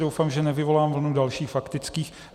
Doufám, že nevyvolám vlnu dalších faktických.